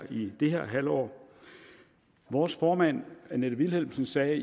i det her halvår vores formand annette vilhelmsen sagde